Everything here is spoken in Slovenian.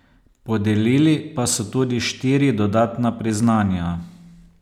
Podelili pa so tudi štiri dodatna priznanja.